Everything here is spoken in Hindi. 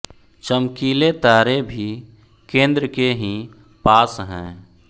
चमकीले तारे भी केंद्र के ही पास हैं